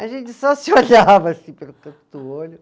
A gente só se olhava assim pelo canto do olho.